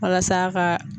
Walasa a ka